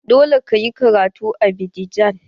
Dole ka yi karatu a Abidjan!